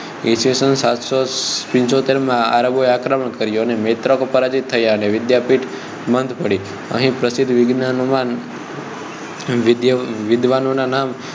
ઈસ્વીસન સાતસો પંચોતેર માં આરબે આક્રમણ કરી અને મૈત્રકો પરાજિત થયા અને વિદ્યાપીઠ બંધ પડી અહીં પ્રસિદ્ધ વિદ્વાનોનાં વિદ્વાનોનાં નામ